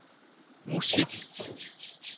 musik